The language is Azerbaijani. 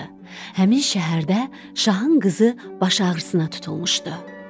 Həmin şəhərdə şahın qızı baş ağrısına tutulmuşdu.